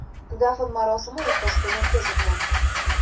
Dafn marosimi ertasi kuni o‘tkazilgan.